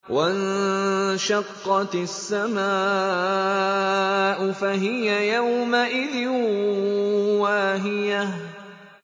وَانشَقَّتِ السَّمَاءُ فَهِيَ يَوْمَئِذٍ وَاهِيَةٌ